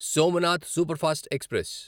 Somnath superfast express